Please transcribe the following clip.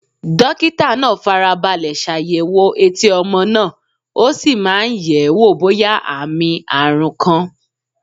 Dókítà náà fara balẹ̀ ṣàyẹ̀wò etí ọmọ náà, ó sì máa ń yẹ̀ ẹ́ wò bóyá àmì àrùn kan.